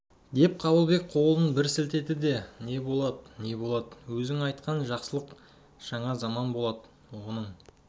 деп қабылбек қолын бір сілтеді не болад не болад өзің айтқан жақсылық жаңа заман болад оның